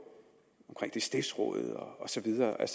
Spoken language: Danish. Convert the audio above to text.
stiftsrådet og så videre jeg